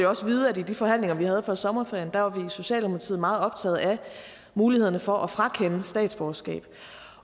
også vide at i de forhandlinger vi havde før sommerferien var vi i socialdemokratiet meget optaget af mulighederne for at frakende statsborgerskab